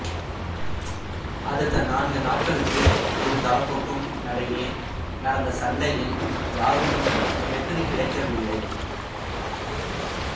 அடுத்த நான்கு நாட்களுக்கு இரு தரப்புக்கும் நடையே நடந்த சண்டையில் யாருக்கும் வெற்றி கிட்டவில்லை